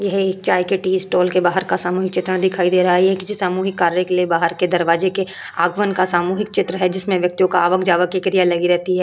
यह एक चाय के टी स्टॉल के बाहर का सामूहिक चित्रण दिखाई दे रहा है। ये किसी सामूहिक कार्य के लिए बाहर के दरवाजे के आगमन का सामूहिक चित्र है जिसमें व्यक्तियों का आवक जावक की क्रिया लगी रहती है।